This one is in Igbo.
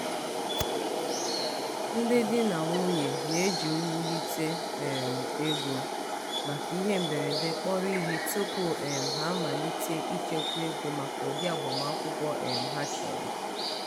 ndị di na nwunye na-eji iwulite um ego maka ihe mberede kpọrọ ihe tupu um ha amalite ichekwa ego maka ụdị agbamakwụkwọ um ha chọrọ.